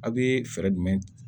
A' bee fɛɛrɛ jumɛn